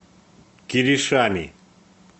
киришами